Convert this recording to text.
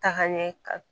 Tagaɲɛ kan